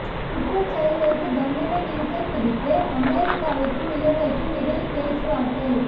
குற்றச் செயல்களுக்கு தண்டனை விதித்தல் குறித்து அமெரிக்காவிற்கும் இலங்கைக்கும் இடையில் பேச்சுவார்த்தை